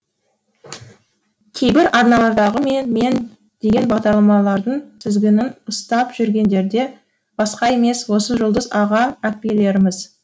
кейбір арналардағы мен мен деген бағдарламалардың тізгінін ұстап жүргендерде басқа емес осы жұлдыз аға әпкелеріміз